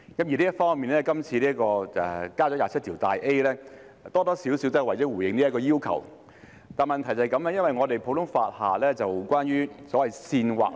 就這方面，今次加入第 27A 條，或多或少是回應這個要求，但問題是，在普通法下，關於所謂煽惑......